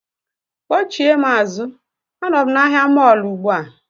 Kpọchie m azụ, anọ m na ahịa mọọlụ ugbu a